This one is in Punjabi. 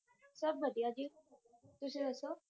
ਸੱਬ ਵਦੀਆਂ ਜੀ ਤੁਸੀਂ ਦਸੋ